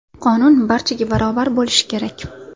Qonun barchaga barobar bo‘lishi kerak.